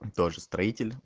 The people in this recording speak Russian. тоже строитель